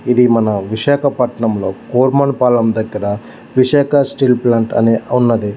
ఇది మన విశాఖపట్నం లో కూర్మర్ పాలెం దగ్గర విశాఖ స్టీల్ ప్లాంట్ అని ఉన్నది.